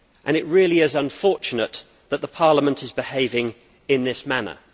It really is unfortunate that the Parliament is behaving in this manner.